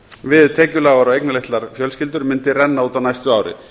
við tekjulágar og eignalitlar fjölskyldur rynni út á næsta ári